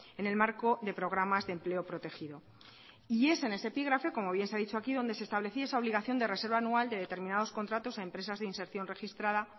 en el marco de programas de empleo protegido y es en ese epígrafe como bien se ha dicho aquí donde se establecía esa obligación de reserva anual de determinados contratos a empresas de inserción registrada